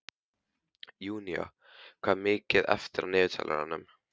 Júnía, hvað er mikið eftir af niðurteljaranum?